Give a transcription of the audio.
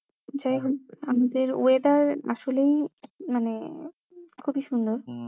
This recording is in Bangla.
weather আসলেই মানে খুবই সুন্দর উম